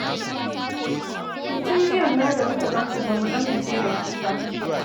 To tun jiyan ma da muka gan ku ba mu amince da ku ba.